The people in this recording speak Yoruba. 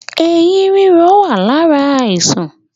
Ẹyin ríro wá lára àìsàn